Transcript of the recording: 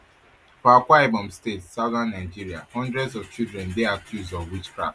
for akwaibom state southern nigeria hundreds of children dey accused of witchcraft